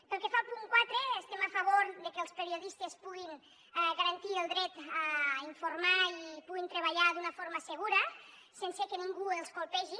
pel que fa al punt quatre estem a favor que els periodistes puguin garantir el dret a informar i puguin treballar d’una forma segura sense que ningú els colpegi